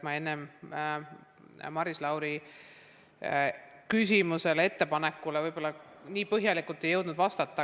Ma enne Maris Lauri küsimusele-ettepanekule võib-olla nii põhjalikult ei jõudnud vastata.